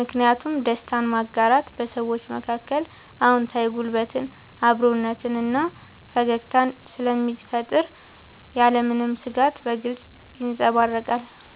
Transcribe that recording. ምክንያቱም ደስታን ማጋራት በሰዎች መካከል አዎንታዊ ጉልበትን፣ አብሮነትን እና ፈገግታን ስለሚፈጥር ያለምንም ስጋት በግልጽ ይንጸባረቃል።